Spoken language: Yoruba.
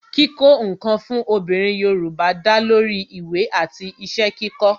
kíkó ǹkan fún obìnrin Yorùbá da lori ìwé àti iṣẹ́ kíkó